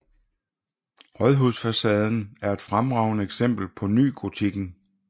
Rådhusfasaden er et fremragende eksempel på nygotikken